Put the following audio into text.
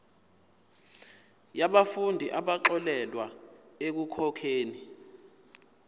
yabafundi abaxolelwa ekukhokheni